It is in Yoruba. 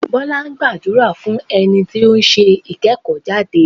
Bọ́lá gbàdúrà fún ẹni tí ó ń ṣe ìkẹ́kọ̀ọ́ jáde.